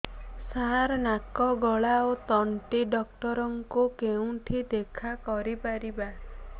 ସାର ନାକ ଗଳା ଓ ତଣ୍ଟି ଡକ୍ଟର ଙ୍କୁ କେଉଁଠି ଦେଖା କରିପାରିବା